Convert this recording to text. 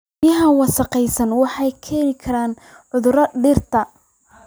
Biyaha wasakhaysan waxay u keeni karaan cudurrada dhirta.